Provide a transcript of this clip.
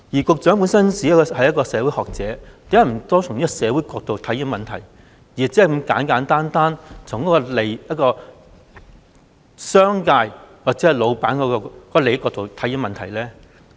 局長本身是一名社會學者，為何不多從社會角度來看問題，而只是如此簡單地從商界或老闆利益的角度來看問題呢？